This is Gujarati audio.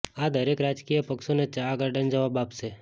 આ દરેક રાજકીય પક્ષોને ચા ગાર્ડન જવાબ આપશે